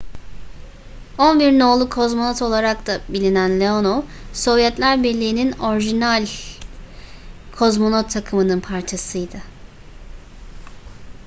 11 no.'lu kozmonot olarak da bilinen leonov sovyetler birliğinin orijinal kozmonot takımının parçasıydı